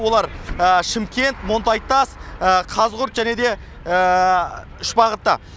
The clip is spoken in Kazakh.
олар шымкент монтайтас қазығұрт және де үш бағытта